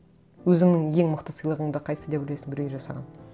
өзіңнің ең мықты сыйлығыңды қайсысы деп ойлайсың біреуге жасаған